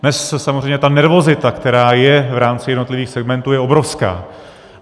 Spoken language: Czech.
Dnes samozřejmě ta nervozita, která je v rámci jednotlivých segmentů, je obrovská.